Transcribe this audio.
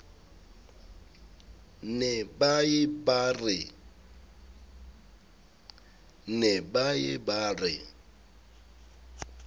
ne ba ye ba re